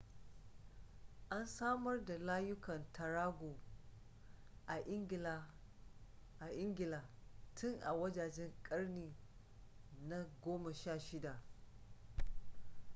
an samar da layukan tarago a ingila tun a wajejen ƙarni na 16